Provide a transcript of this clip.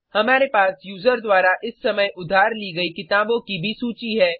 हमारे पास यूज़र द्वारा इस समय उधार ली गयी किताबों की भी सूची है